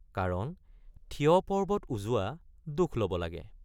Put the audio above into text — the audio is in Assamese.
কাৰণ থিয় পৰ্বত উজোৱা দুখ লব লাগে।